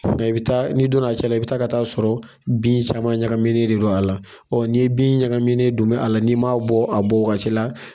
Mɛ kuma bɛɛ la. i bɛ taa, n'i donna a cɛla, i bɛ taga ka t'a sɔrɔ bin caman ɲagaminen de don a la, ɔ ni ye bin ɲagaminɛ don bɛ a la, n'i ma bɔ a bon wagati la